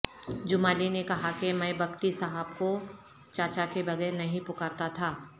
جمالی نے کہا کہ میں بگٹی صاحب کو چا چا کے بغیر نہیں پکارتا تھا